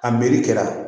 A melekɛra